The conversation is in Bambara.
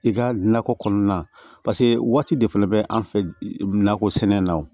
I ka nakɔ kɔnɔna paseke waati de fɛnɛ bɛ an fɛ nakɔ sɛnɛ na o